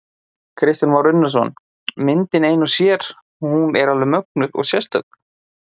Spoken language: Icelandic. Kristján Már Unnarsson: Myndin ein og sér, hún er alveg mögnuð og sérstök?